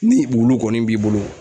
Ni wulu kɔni b'i bolo